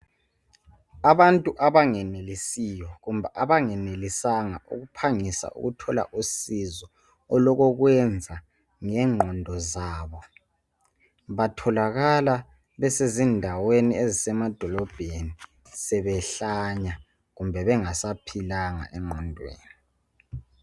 Abantu abangenelisiyo kumbe abengelisanga ukuphangisa ukuthola usizo olokokwenza ngengqondo zabo batholakala besezindaweni ezisemadolobheni sebehlanya kumbe sebengasaphilanga engqondweni.